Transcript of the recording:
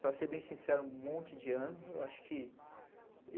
Para ser bem sincero, um monte de anos.